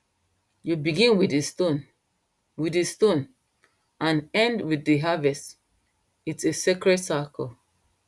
you begin with the stone with the stone and end with the harvest its a sacred cycle